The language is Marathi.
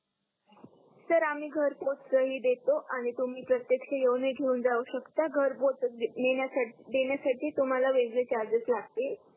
सर आम्ही घर पोच ही देतो आणि तुम्ही प्रतेकक्ष येऊन ही घेऊन जाऊ शकता घर पोच देण्यासाठी तुम्हाला वेगळे चार्जस लागते